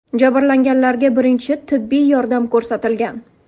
Jabrlanganlarga birinchi tibbiy yordam ko‘rsatilgan.